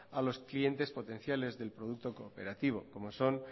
a los clientes potenciales del producto cooperativo como son